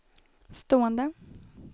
stående